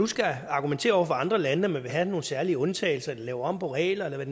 skal argumentere over for andre lande med at have nogle særlige undtagelser eller lave om på reglerne